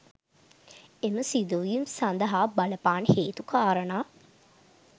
එම සිදුවීම් සඳහා බලපාන හේතු කාරණා